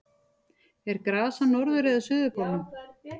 er gras á norður eða suðurpólnum